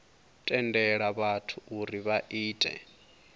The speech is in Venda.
tendela vhathu uri vha ite